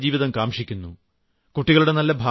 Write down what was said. നാമെല്ലാം മെച്ചപ്പെട്ട ഒരു ജീവിതം കാംക്ഷിക്കുന്നു